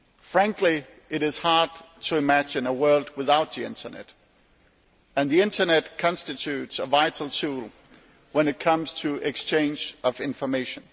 Frankly it is hard to imagine a world without the Internet and the Internet constitutes a vital tool when it comes to exchange of information.